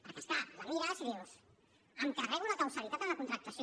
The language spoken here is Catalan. perquè és clar la mires i dius em carrego la causalitat en la contractació